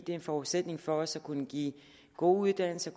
det er en forudsætning for også at kunne give gode uddannelser